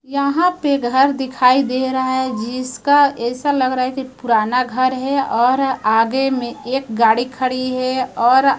यहां पे घर दिखाई दे रहा है जिसका ऐसा लग रहा है कि पुराना घर है और आगे में एक गाड़ी खड़ी है और--